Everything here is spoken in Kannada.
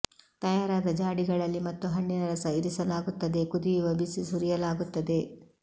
ತಯಾರಾದ ಜಾಡಿಗಳಲ್ಲಿ ಮತ್ತು ಹಣ್ಣಿನ ರಸ ಇರಿಸಲಾಗುತ್ತದೆ ಕುದಿಯುವ ಬಿಸಿ ಸುರಿಯಲಾಗುತ್ತದೆ